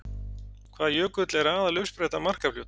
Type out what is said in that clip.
Hvaða jökull er aðaluppspretta Markarfljóts?